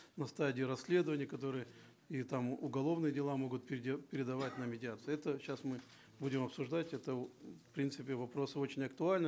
на стадии расследования которые или там уголовные дела могут передавать на медиацию это сейчас мы будем обсуждать это в принципе вопрос очень актуальный